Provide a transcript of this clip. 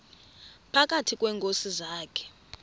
phakathi kweenkosi zakhe